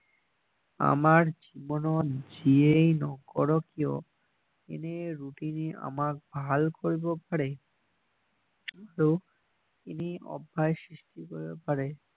আমাৰ জীৱনত যিয়েই নকৰক কিয় এনেই আমাক ভাল কৰিব পাৰে আৰু সৃষ্টি কৰিব পাৰে